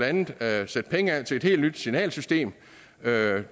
andet at sætte penge af til et helt nyt signalsystem det